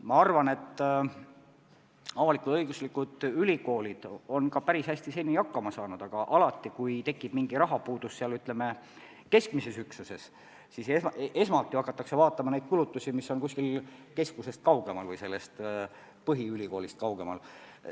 Ma arvan, et avalik-õiguslikud ülikoolid on seni päris hästi hakkama saanud, aga alati, kui tekib mingi rahapuudus, ütleme, keskses üksuses, siis esmalt hakatakse vaatama kulutusi, mis tehakse põhiülikoolist kaugemal.